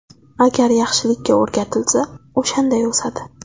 Agar yaxshilikka o‘rgatilsa, o‘shanday o‘sadi.